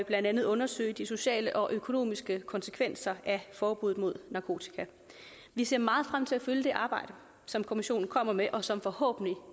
blandt andet undersøge de sociale og økonomiske konsekvenser af forbuddet mod narkotika vi ser meget frem til at følge det arbejde som kommissionen kommer med og som forhåbentlig